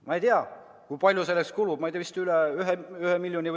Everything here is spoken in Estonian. Ma ei tea, kui palju selleks kulub, ma ei tea, vist üle 1 miljoni.